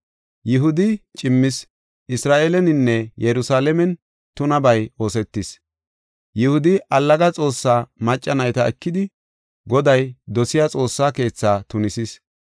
Yihudi cimmis; Isra7eeleninne Yerusalaamen tunabay oosetis; Yihudi allaga xoossa macca nayta ekidi, Goday dosiya xoossa keetha tunisis.